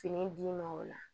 Fini d'i ma o la